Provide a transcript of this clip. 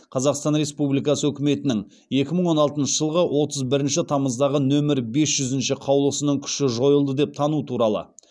қазақстан республикасы үкіметінің екі мың он алтыншы жылғы отыз бірінші тамыздағы нөмірі бес жүзінші қаулысының күші жойылды деп тану туралы